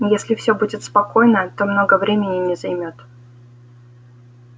если всё будет спокойно то много времени не займёт